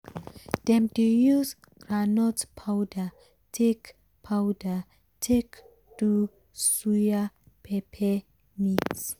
dem dey use groundnut powder take powder take do suya pepper mix.